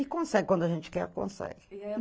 E consegue quando a gente quer, consegue.